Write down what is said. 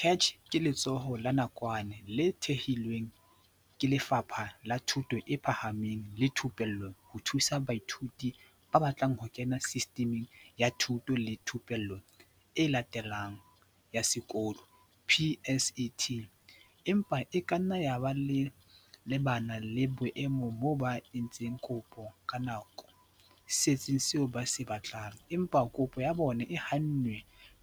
CACH ke letsholo la nakwana le thehilweng ke Lefapha la Thuto e Phahameng le Thupello ho thusa baithuti ba batlang ho kena Sistiming ya Thuto le Thupello e Latelang ya Sekolo, PSET, empa e kanna yaba ba lebane le boemo moo ba, entseng kopo ka nako setsing seo ba se batlang, empa kopo ya bona e hannwe